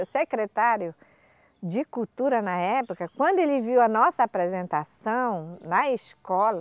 O secretário de cultura na época, quando ele viu a nossa apresentação na escola,